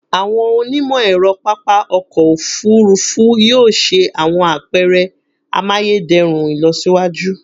Awọn onimọ-ẹrọ papa ọkọ ofurufu yoo ṣe awọn apẹrẹ amayederun ilọsiwaju